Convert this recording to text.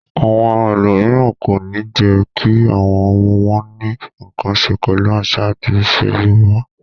Àwọn ẹlòmíràn kò ní jẹ́ kí àwọn ọmọ wọn ní nǹkan ṣe pẹ̀lú àṣà àti ìṣe Yorùbá.